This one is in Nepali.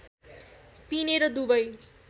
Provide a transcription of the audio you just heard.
पिने र दुबै